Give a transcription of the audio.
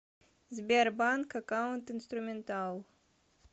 сбер банк аккаунт инструментал